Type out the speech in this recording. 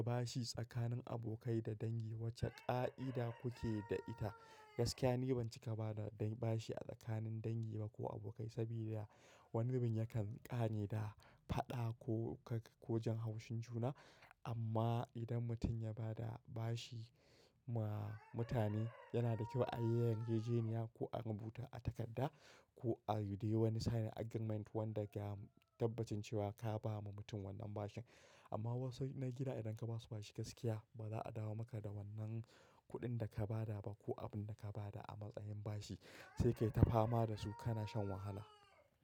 Bashi tsakanin abokai da dangi wace ƙa'ida kuke da ita? Gaskiya ni ban cika bada de bashi a tsakanin dangi ba ko abokai, saboda wani zubin yakan ƙare da faɗa ko kaga ko jin haushin juna. Amma idan mutum ya bada bashi ma mutane, yana da kyau a yi yarjejeniya ko a rubuta a takarda ko a yi dai wani sign agreement wanda ya tabbaci cewa ka ba ma mutum wannan bashin. Amma wasu na gida idan ka ba su bashi gaskiya, ba za a dawo maka da wannan kuɗin da ka bada ba ko abun da ka bada a matsayin bashi, sai ka yi tafama da su kana shan wahala.